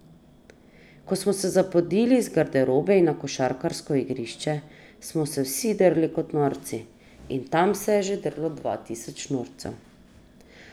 Ko smo se zapodili iz garderobe in na košarkarsko igrišče, smo se vsi drli kot norci, in tam se je že drlo dva tisoč norcev.